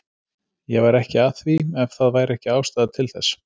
Ég væri ekki að því ef það væri ekki ástæða til þess.